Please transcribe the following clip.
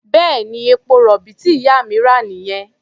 Bẹ́ẹ̀ni, epo-rọ̀bì tí ìyá mi rà nìyẹn.